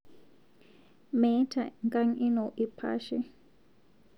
Meeta nkang ino lpaashee